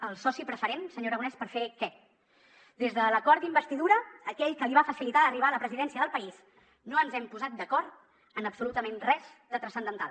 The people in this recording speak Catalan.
el soci preferent senyor aragonès per fer què des de l’acord d’investidura aquell que li va facilitar arribar a la presidència del país no ens hem posat d’acord en absolutament res de transcendental